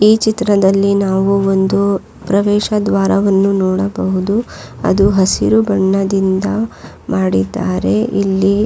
ಈ ಚಿತ್ರದಲ್ಲಿ ನಾವು ಒಂದು ಪ್ರವೇಶ ದ್ವಾರವನ್ನು ನೋಡಬಹುದು ಅದು ಹಸಿರು ಬಣ್ಣದಿಂದ ಮಾಡಿದ್ದಾರೆ ಇಲ್ಲಿ.